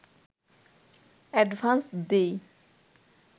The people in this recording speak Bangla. অ্যাডভান্স দিই